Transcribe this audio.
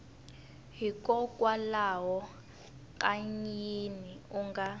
hikokwalaho ka yini u nga